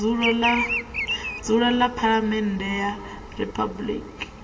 dzulo ḽa phaḽamennde ya riphabuliki